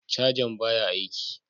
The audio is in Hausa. Cajan baya aiki.